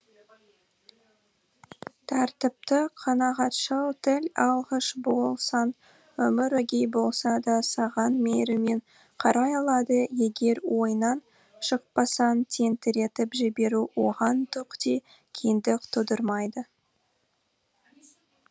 тәртіпті қанағатшыл тіл алғыш болсаң өмір өгей болса да саған мейіріммен қарай алады егер ойынан шықпасаң тентіретіп жіберу оған түк те қиындық тудырмайды